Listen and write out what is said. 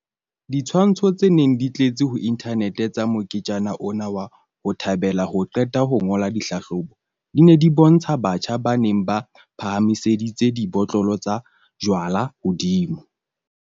Ditshwantsho tse neng di tletse ho inthanete tsa moketjana ona wa ho thabela ho qeta ho ngola ditlhahlobo, di ne di bontsha batjha ba neng ba phahamiseditse dibotlolo tsa jwalo hodimo.